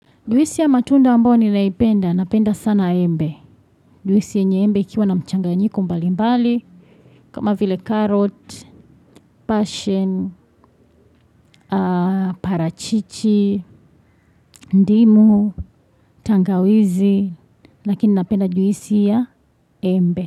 Juisi ya matunda ambayo n naipenda, napenda sana embe. Juisi nyenye embe ikiwa na mchanganyiko mbali mbali, kama vile carrot, passion, parachichi, ndimu, tangawizi, lakini napenda juisi ya embe.